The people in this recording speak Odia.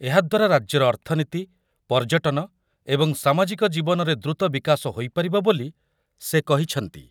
ଏହାଦ୍ୱାରା ରାଜ୍ୟର ଅର୍ଥନୀତି, ପର୍ଯ୍ୟଟନ ଏବଂ ସାମାଜିକ ଜୀବନରେ ଦ୍ରୁତ ବିକାଶ ହୋଇପାରିବ ବୋଲି ସେ କହିଛନ୍ତି